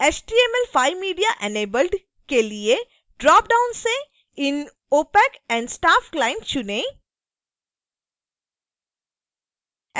html5mediaenabled के लिए dropdown से in opac and staff client चुनें